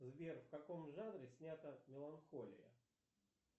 сбер в каком жанре снята меланхолия